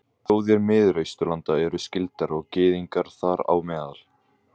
Þjóðir Miðausturlanda eru skyldar, og gyðingar þar á meðal.